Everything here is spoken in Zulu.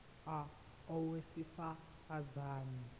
a owesifaz ane